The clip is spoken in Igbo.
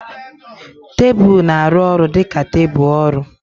Tebụl na-arụ ọrụ dị ka tebụl ọrụ.